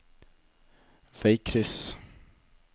veikryss